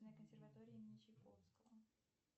консерватории имени чайковского